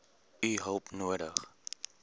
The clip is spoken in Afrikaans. u hulp nodig